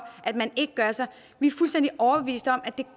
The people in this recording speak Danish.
at man ikke gør sig vi